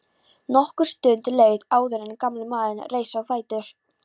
Nokkur stund leið áður en gamli maðurinn reis á fætur.